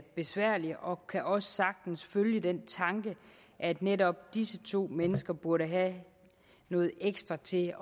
besværlig og kan også sagtens følge den tanke at netop disse to mennesker burde have noget ekstra til